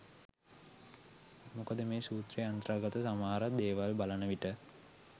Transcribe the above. මොකද මේ සූත්‍රයේ අන්තර්ගත සමහර දේවල් බලන විට